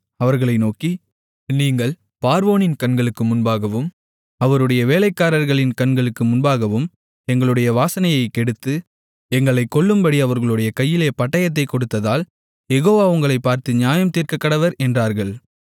அவர்களை நோக்கி நீங்கள் பார்வோனின் கண்களுக்கு முன்பாகவும் அவருடைய வேலைக்காரர்களின் கண்களுக்கு முன்பாகவும் எங்களுடைய வாசனையைக் கெடுத்து எங்களைக் கொல்லும்படி அவர்களுடைய கையிலே பட்டயத்தைக் கொடுத்ததால் யெகோவா உங்களைப் பார்த்து நியாயம் தீர்க்கக்கடவர் என்றார்கள்